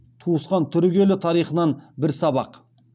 туысқан түрік елі тарихынан бір сабақ